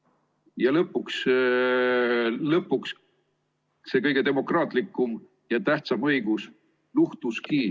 Ja lõpuks see kõige demokraatlikum ja tähtsam õigus luhtuski.